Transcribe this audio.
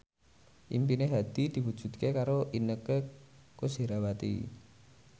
impine Hadi diwujudke karo Inneke Koesherawati